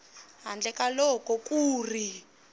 handle ka loko ku ri